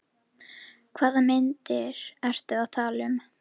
Hvaða myndir ertu að tala um?